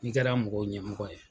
I kɛra mɔgɔw ɲɛmɔgɔ ye